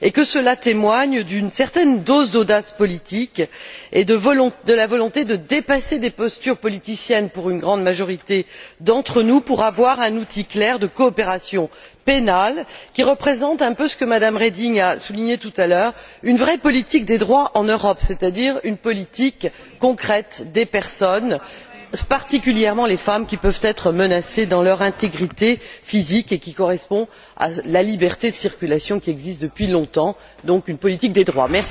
Cela témoigne d'une certaine dose d'audace politique et de la volonté de dépasser des postures politiciennes pour une grande majorité d'entre nous, afin d'avoir un outil clair de coopération pénale qui représente un peu, comme Mme Reding l'a souligné tout à l'heure, une vraie politique des droits en Europe, c'est à dire une politique concrète des personnes, en particulier pour les femmes qui peuvent être menacées dans leur intégrité physique, une politique qui corresponde à la liberté de circulation qui existe depuis longtemps, donc une politique des droits.